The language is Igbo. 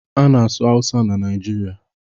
A na-asụ Awụsa na Naịjirịa.